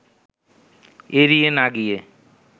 এড়িয়ে না গিয়ে